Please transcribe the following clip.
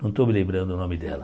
Não estou me lembrando o nome dela.